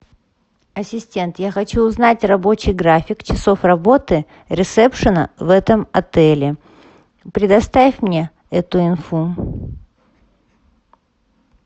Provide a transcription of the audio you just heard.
ассистент я хочу узнать рабочий график часов работы ресепшена в этом отеле предоставь мне эту инфу